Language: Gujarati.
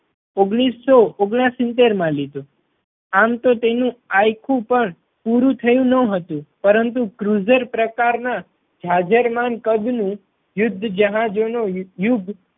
ઓગણીસો ઓગણસિતેર માં લીધું. આમ તો તેનું આયખું પણ પૂરું થયું ના હતું પરંતુ cruizer પ્રકાર ના જાજરમાન કદ નું યુદ્ધ જહાજો નું યુદ્ધ